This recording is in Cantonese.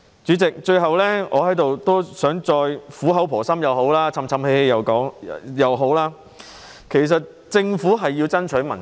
主席，最後，我想在這裏苦口婆心的說，就是嘮叨也好，政府需要爭取民心。